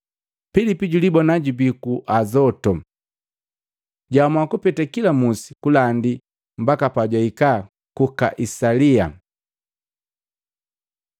Pilipi julibona jubii ku Azotu, jwaamua kupete kila musi kulandi mbaka pajwaikaa ku Kaisalia.